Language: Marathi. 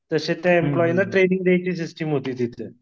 तसे त्या एम्प्लॉईनां ट्रेनिंग द्यायची सिस्टिम होती तिथं.